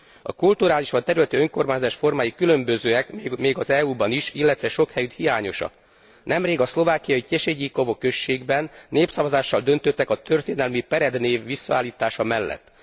A kulturális vagy területi önkormányzás formái különbözőek, még az EU ban is, illetve sok helyütt hiányosak. Nemrég a szlovákiai Tesedíkovo községben népszavazással döntöttek a történelmi Pered név visszaállítása mellett.